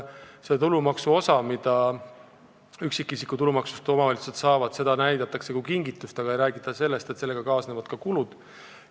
Seda osa üksikisiku tulumaksust, mis omavalitsused saavad, näidatakse kui kingitust, aga ei räägita sellest, et sellega kaasnevad ka kulud.